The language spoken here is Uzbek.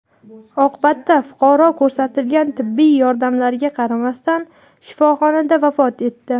Oqibatda fuqaro ko‘rsatilgan tibbiy yordamlarga qaramasdan shifoxonada vafot etdi.